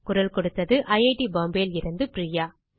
குரல் கொடுத்தது ஐட் பாம்பே லிருந்து பிரியா